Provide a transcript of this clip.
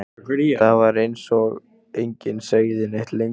Það var eins og enginn segði neitt lengur.